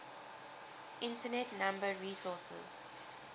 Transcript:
internet number resources